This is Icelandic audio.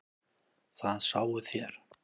Það sáuð þér.